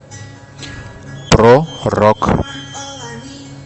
про рок